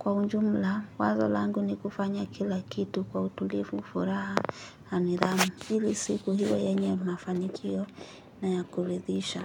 Kwa ujumla, wazo langu ni kufanya kila kitu kwa utulivu furaha, na nidhamu, hili siku iwe yenye mafanikio na ya kuridhisha.